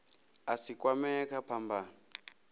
a si kwamee kha phambano